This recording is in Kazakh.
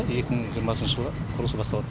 екі мың жиырмасыншы жылы құрылысы басталады